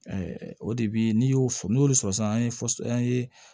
o de bi n'i y'o fɔ n'i y'olu sɔrɔ sisan an ye